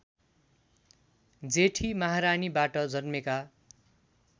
जेठी महारानीबाट जन्मेका